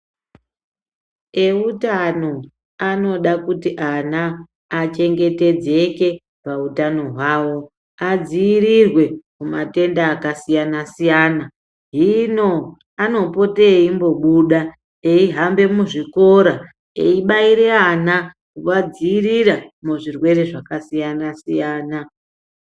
Eutano anoda kuti ana achengetedzeke pautano hwavo, adziirirwe kumatenda akasiyana-siyana hino anopote eimbobuda eihambe muzvikora eibaire ana kuvadzivirira muzvirwere zvakasiyana -siyana.